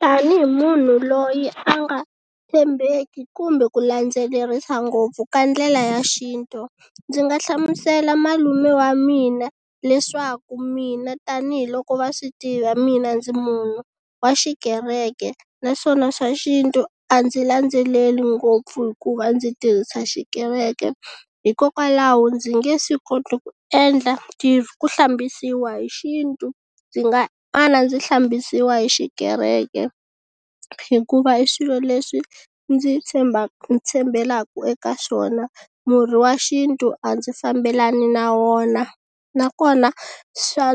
Tani hi munhu loyi a nga tshembeki kumbe ku landzelerisa ngopfu ka ndlela ya xintu ndzi nga hlamusela malume wa mina leswaku mina tanihiloko va swi tiva mina ndzi munhu wa xikereke naswona swa xintu a ndzi landzeleli ngopfu hikuva ndzi tirhisa xikereke hikokwalaho ndzi nge swi koti ku endla ku hlambisiwa hi xintu ndzi nga mana ndzi hlambisiwa hi xikereke hikuva i swilo leswi ndzi tshemba tshembelaka eka swona murhi wa xintu a ndzi fambelani na wona nakona swa